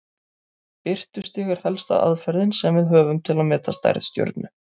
Birtustig er helsta aðferðin sem við höfum til að meta stærð stjörnu.